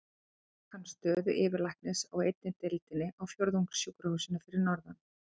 Svo fékk hann stöðu yfirlæknis á einni deildinni á Fjórðungssjúkrahúsinu fyrir norðan.